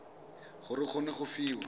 gore o kgone go fiwa